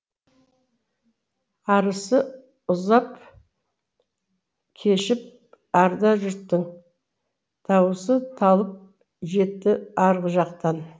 арысы ұзап кешіп арда жұрттың дауысы талып жетті арғы жақтан